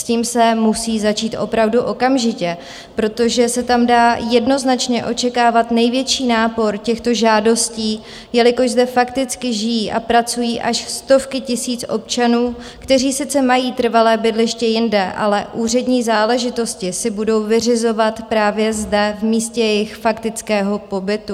S tím se musí začít opravdu okamžitě, protože se tam dá jednoznačně očekávat největší nápor těchto žádostí, jelikož zde fakticky žijí a pracují až stovky tisíc občanů, kteří sice mají trvalé bydliště jinde, ale úřední záležitosti si budou vyřizovat právě zde, v místě jejich faktického pobytu.